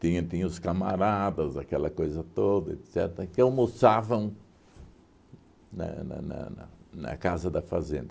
Tinha tinha os camaradas, aquela coisa toda, etcetera, que almoçavam na na na na na casa da Fazenda.